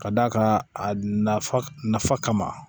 Ka d'a kan a nafa kama